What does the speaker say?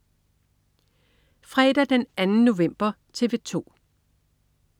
Fredag den 2. november - TV 2: